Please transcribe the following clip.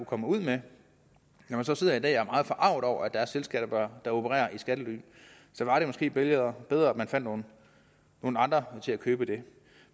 komme ud med når man så sidder i dag og er meget forarget over at der er selskaber der opererer i skattely så var det måske bedre bedre at man fandt nogle andre til at købe dem